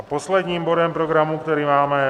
A posledním bodem programu, který máme, je